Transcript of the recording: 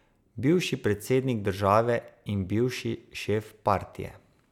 Bivši predsednik države in bivši šef partije.